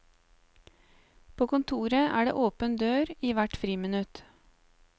På kontoret er det åpen dør i hvert friminutt.